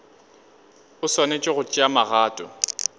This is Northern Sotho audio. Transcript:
o swanetše go tšea magato